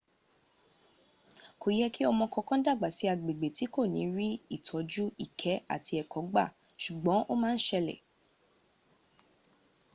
kò yẹ kí ọmọ kankan dàgbà sí agbẹ̀gbẹ̀ tí kò ní rí ìtọ́jú ìkẹ́ àti ẹ̀kọ gba sùgbọn o má n sẹlẹ̀